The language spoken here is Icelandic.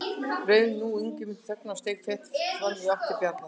Rauf nú Ingimundur þögnina og steig fet fram í átt til Bjarnar.